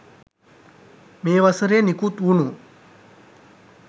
මේ වසරේ නිකුත් වුණු